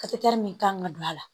min kan ka don a la